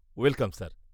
-Welcome sir.